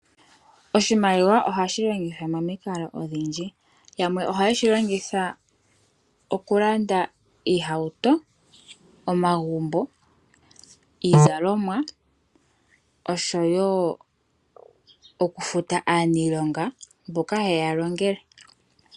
Oshimaliwa ohashilongithwa momikalo odhindji yamwe ohaye shi longitha okulanda oohauto ,omagumbo ,iizalomwa oshowo okufuta aaniilonga mboka hayeya longele.